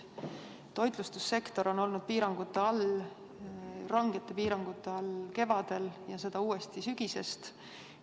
Toitlustussektor on olnud piirangute all, oli rangete piirangute all kevadel ja on seda uuesti sügisest.